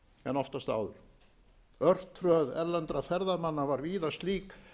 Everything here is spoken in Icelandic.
en oftast áður örtröð erlendra ferðamanna var víða slík